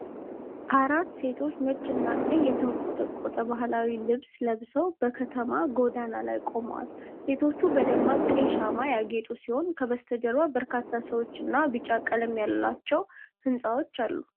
አራት ሴቶች ነጭና ቀይ የተንቆጠቆጠ ባህላዊ ልብስ ለብሰው በከተማ ጎዳና ላይ ቆመዋል። ሴቶቹ በደማቅ ቀይ ሸማ ያጌጡ ሲሆኑ፣ ከበስተጀርባ በርካታ ሰዎች እና ቢጫ ቀለም ያላቸው ሕንፃዎች አሉ።